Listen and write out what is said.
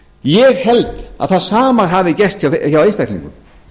ég held að það sama hafi gerst hjá einstaklingum